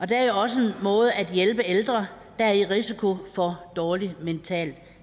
det er jo også en måde at hjælpe ældre der er i risiko for dårlig mental